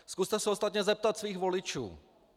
Zkuste se ostatně zeptat svých voličů.